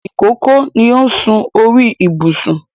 Ìkókó ni ó sún sí orí ìbùsùn